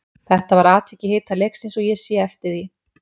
Þetta var atvik í hita leiksins og ég sé eftir því.